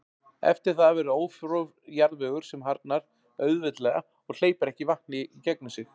Eftir verður ófrjór jarðvegur sem harðnar auðveldlega og hleypir ekki vatni í gegnum sig.